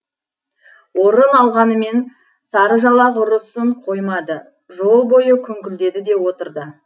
орын алғанымен сарыжалақ ұрысын қоймады жол бойы күңкілдеді де отырды